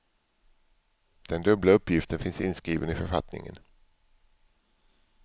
Den dubbla uppgiften finns inskriven i författningen.